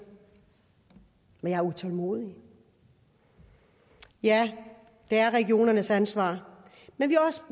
men jeg er utålmodig ja det er regionernes ansvar men